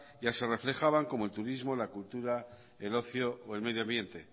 ya se reflejaban como el turismo la cultura el ocio o el medioambiente